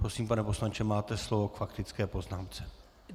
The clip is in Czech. Prosím, pane poslanče, máte slovo k faktické poznámce.